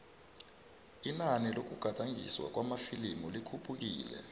inani lokugadangiswa kwamafilimu likhuphukile